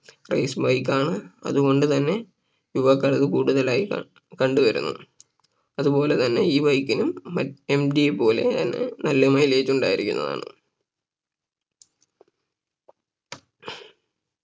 Race bike ആണ് അതുകൊണ്ട് തന്നെ യുവാക്കളിൽ കൂടുതലായി ക കണ്ടു വരുന്നു അതുപോലെ തന്നെ ഈ Bike നും മറ്റ് MT യെ പോലെ ആണ് നല്ല Mileage ഉണ്ടായിരിക്കുന്നതാണ്